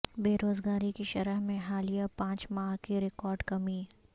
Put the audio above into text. بے روزگاری کی شرح میں حالیہ پانچ ماہ کی ریکارڈ کمی